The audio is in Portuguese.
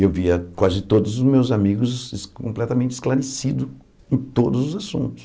E eu via quase todos os meus amigos completamente esclarecidos em todos os assuntos.